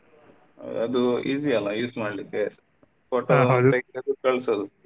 ಅದು easy ಅಲ್ಲಾ use ಮಾಡ್ಲಿಕ್ಕೆ photo ಕಳ್ಸೊದು.